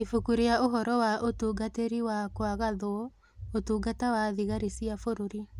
Ibuku rĩa Ũhoro wa Ũtungatĩri wa Gwathagwo, Ũtungata wa thigari cia bũrũri.